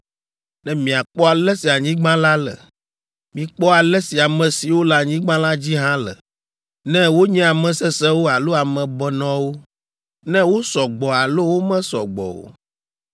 ne miakpɔ ale si anyigba la le. Mikpɔ ale si ame siwo le anyigba la dzi hã le, ne wonye ame sesẽwo alo ame benɔewo, ne wosɔ gbɔ alo womesɔ gbɔ o.